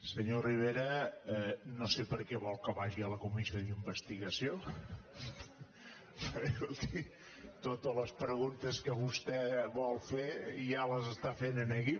senyor rivera no sé per què vol que vagi a la comissió d’investigació perquè escolti totes les preguntes que vostè vol fer ja les està fent aquí